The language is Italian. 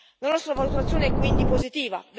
La nostra valutazione è quindi positiva.